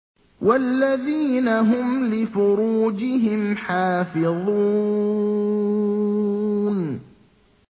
وَالَّذِينَ هُمْ لِفُرُوجِهِمْ حَافِظُونَ